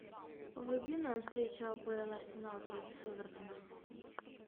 вруби нам встречу апл арсенал против эвертона